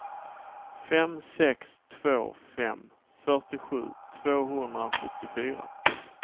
fem sex två fem fyrtiosju tvåhundrasjuttiofyra